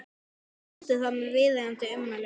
Aðrir sendu það með viðeigandi ummælum.